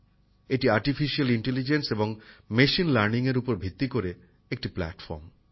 এটি কৃত্রিম মেধা এবং মেশিন লার্নিং এর উপর ভিত্তি করে একটি প্ল্যাটফর্ম